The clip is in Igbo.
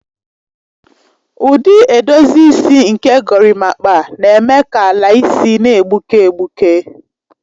Ụdị edozi isi nke gorimakpa na-eme ka ala isi na-egbuke egbuke.